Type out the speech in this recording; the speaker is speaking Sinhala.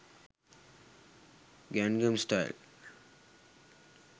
gangam style